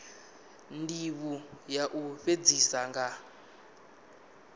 ndivho ya u fhedzisa nga